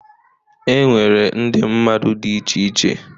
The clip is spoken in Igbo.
E nwere ndị mmadụ dị iche iche...